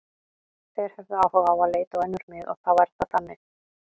Þeir höfðu áhuga á að leita á önnur mið og þá er það þannig.